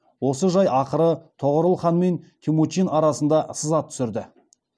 осы жай ақыры тоғорыл хан мен темучин арасына сызат түсірді